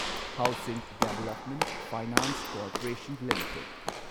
housing development finance corporation limited